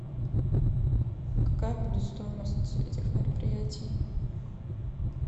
какая будет стоимость этих мероприятий